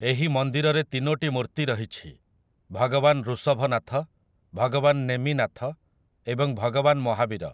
ଏହି ମନ୍ଦିରରେ ତିନୋଟି ମୂର୍ତ୍ତି ରହିଛି, ଭଗବାନ ଋଷଭନାଥ, ଭଗବାନ ନେମିନାଥ ଏବଂ ଭଗବାନ ମହାବୀର ।